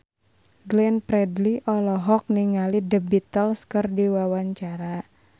Glenn Fredly olohok ningali The Beatles keur diwawancara